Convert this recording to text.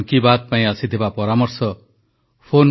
• ସତର୍କ ଓ ସଚେତନ ରହିବା ପାଇଁ ଦେଶବାସୀଙ୍କୁ ପ୍ରଧାନମନ୍ତ୍ରୀଙ୍କ ନିବେଦନ